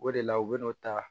O de la u bɛn'o ta